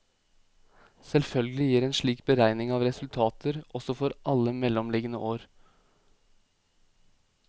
Selvfølgelig gir en slik beregning resultater også for alle mellomliggende år.